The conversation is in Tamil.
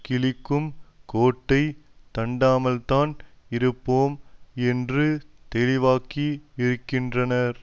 கிழிக்கும் கோட்டை தாண்டாமல்தான் இருப்போம் என்று தெளிவாக்கி இருக்கின்றனர்